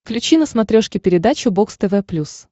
включи на смотрешке передачу бокс тв плюс